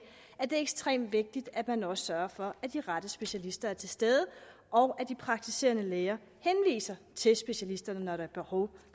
er det ekstremt vigtigt at man også sørger for at de rette specialister er til stede og at de praktiserende læger henviser til specialisterne når der er behov